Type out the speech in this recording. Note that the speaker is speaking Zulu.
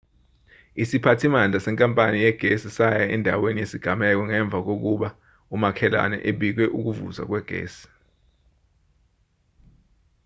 isiphathimandla senkapani yegesi saya endaweni yesigameko ngemva kokuba umakhelwane ebike ukuvuza kwegesi